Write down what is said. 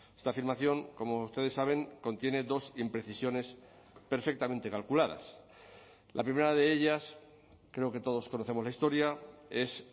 esta afirmación como ustedes saben contiene dos imprecisiones perfectamente calculadas la primera de ellas creo que todos conocemos la historia es